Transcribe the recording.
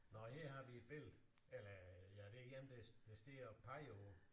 Nåh her har vi et billede eller ja det er en der der står og peger på